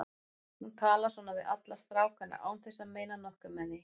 Hún talar svona við alla stráka án þess að meina nokkuð með því.